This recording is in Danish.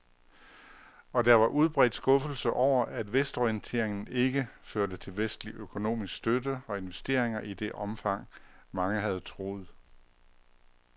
Og der var udbredt skuffelse over, at vestorienteringen ikke førte til vestlig økonomisk støtte og investeringer i det omfang, mange havde troet.